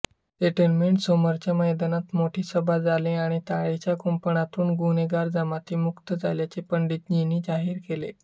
सेटलमेंटसमोरच्या मैदानात मोठी सभा झाली आणि तारेच्या कुंपणातून गुन्हेगार जमाती मुक्त झाल्याचे पंडितजींनी जाहीर केले